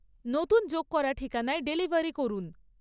নতুন যোগ করা ঠিকানায় ডেলিভারি করুন